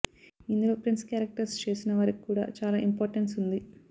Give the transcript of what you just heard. ఇందులో friends characters చేసిన వారికి కూడా చాలా ఇంపార్టెన్స్ ఉంది